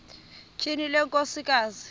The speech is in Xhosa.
tyhini le nkosikazi